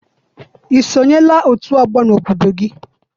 I sonyela otu ọgbọ n'obodo gị?